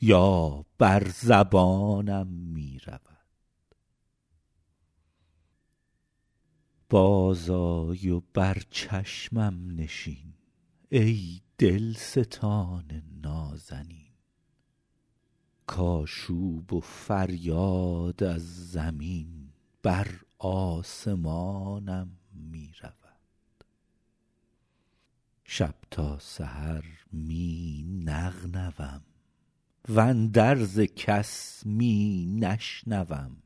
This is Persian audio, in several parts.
یا بر زبانم می رود بازآی و بر چشمم نشین ای دلستان نازنین کآشوب و فریاد از زمین بر آسمانم می رود شب تا سحر می نغنوم واندرز کس می نشنوم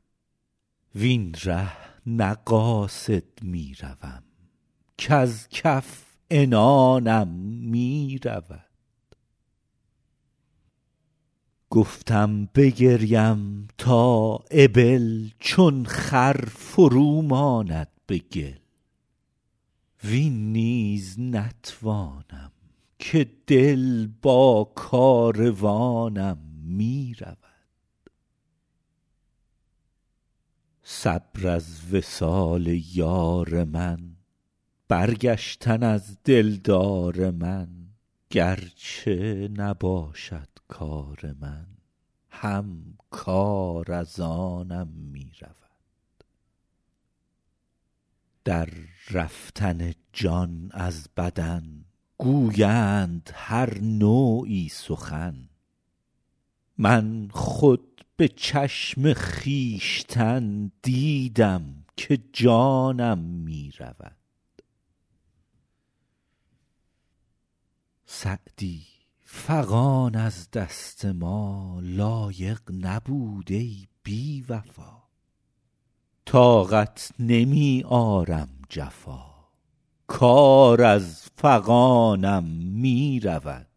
وین ره نه قاصد می روم کز کف عنانم می رود گفتم بگریم تا ابل چون خر فرو ماند به گل وین نیز نتوانم که دل با کاروانم می رود صبر از وصال یار من برگشتن از دلدار من گر چه نباشد کار من هم کار از آنم می رود در رفتن جان از بدن گویند هر نوعی سخن من خود به چشم خویشتن دیدم که جانم می رود سعدی فغان از دست ما, لایق نبود ای بی وفا طاقت نمی آرم جفا کار از فغانم می رود